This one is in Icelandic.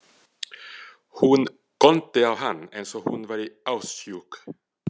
Hún góndi á hann eins og hún væri ástsjúk.